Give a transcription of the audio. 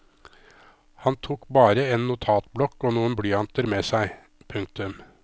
Han tok bare en notatblokk og noen blyanter med seg. punktum